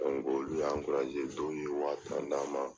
Olu y'an dɔ ninnu ye wari fana d'an ma.